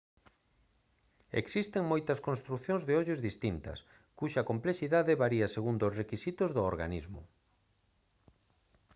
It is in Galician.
existen moitas construcións de ollos distintas cuxa complexidade varía segundo os requisitos do organismo